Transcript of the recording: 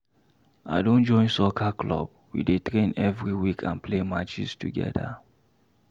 I don join soccer club, we dey train every week and play matches together.